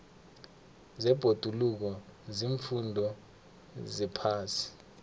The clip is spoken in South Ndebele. zebhoduluko ziimfundo zephasi